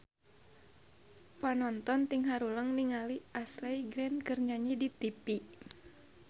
Panonton ting haruleng ningali Ashley Greene keur nyanyi di tipi